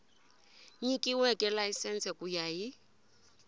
nyikiweke layisense ku ya hi